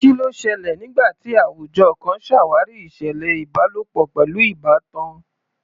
Kí ló ṣẹlẹ̀ nígbà tí àwùjọ kan ṣàwárí ìṣẹ̀lẹ̀ ìbálòpọ̀ pẹ̀lú ìbátan?